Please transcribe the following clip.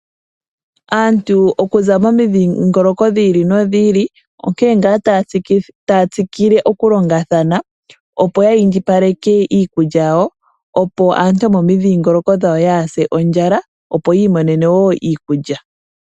Aantu okuza momidhingoloko dhiili no dhiili onkene ngaa taya tsikile okulonga thana opo ya indjipaleke iikulya yawo opo aantu yomomidhingoloko dhawo yaa se ondjala opo yiimonene wo iikulya.